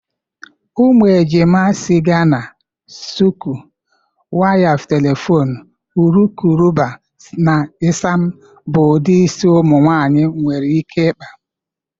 Ụmụ ejima, isi Ghana, shuku, waya telefon, urukurubụba na isam bụ ụdị isi ụmụnwaanyị nwere ike ịkpa.